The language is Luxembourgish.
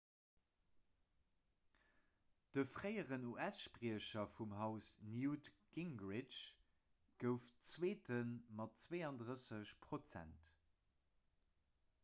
de fréieren us-spriecher vum haus newt gingrich gouf zweete mat 32 prozent